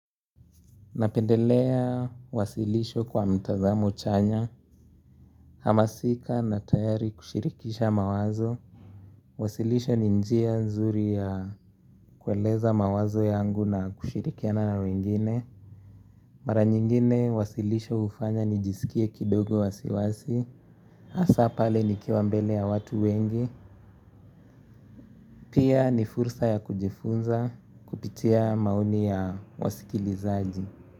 Napendelea wasilisho kwa mtazamo chanya, hamasika na tayari kushirikisha mawazo. Wasilisho ni njia nzuri ya kueleza mawazo yangu na kushirikiana na wengine. Mara nyingine wasilisho hufanya nijiskie kidogo wasiwasi, hasa pale nikiwa mbele ya watu wengi. Pia ni fursa ya kujifunza kupitia maoni ya wasikilizaji.